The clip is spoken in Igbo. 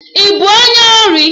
Ị bụ onye ori?